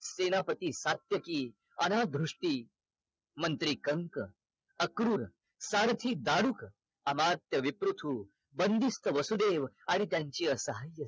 सेनापती सात्यकी अनाधृष्टी मंत्री कंस अक्रूर सारथी दारूक अमात्य विपृथु बंदिस्त वसुदेव आणि त्यांची अर्धांगिनी